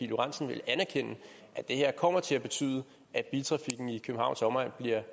lorentzen ville anerkende at det her kommer til at betyde at biltrafikken i københavns omegn bliver